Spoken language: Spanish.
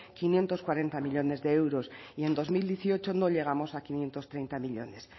quinientos cuarenta millónes de euros y en dos mil dieciocho no llegamos a quinientos treinta millónes